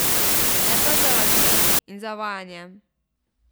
Ne pa z lažmi in zavajanjem!